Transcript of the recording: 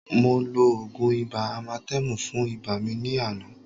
Mo lo ògùn ibà amatẹ́mù fún ibà mi ní àná